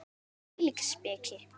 Hvílík speki!